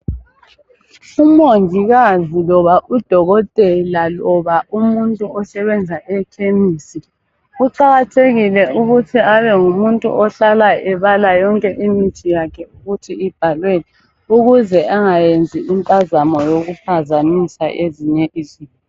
Umongikazi loba udokotela loba umuntu osebenza eKhemisi, kuqakathekile ukuthi abengumuntu ohlala yonke imithi yakhe ukuthi ibhalweni ukuze angayenzi impazamo yokuphazamisa ezinye izinto.